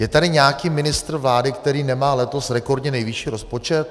Je tady nějaký ministr vlády, který nemá letos rekordně nejvyšší rozpočet?